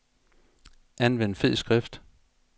Anvend fed skrift.